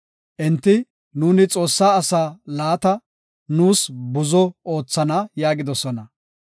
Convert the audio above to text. Enti, “Nuuni Xoossaa asaa laata nuus buzo oothana” yaagidosona.